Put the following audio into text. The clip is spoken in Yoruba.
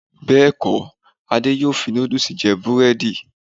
Bẹ́ẹ̀kọ́, Adé yóò fi nódúùsì jẹ búrẹ́dì